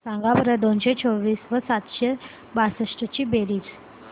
सांगा बरं दोनशे चोवीस व सातशे बासष्ट ची बेरीज